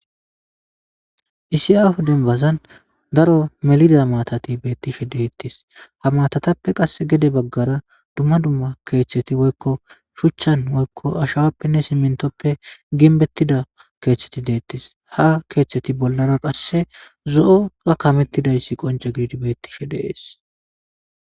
isi aho denbazan daro melida matati beettishe deettis ha matatappe qass gede baggara dumma dumma keeththeti woykko shuchchan woykko ashawappenne simintoppe ginbettida keeththeti deettis ha keeththeti bollara qasse zo7oa kamettidayssi qonce giidi beettishe de'ees